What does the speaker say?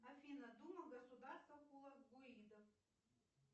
афина дума государства хулагуидов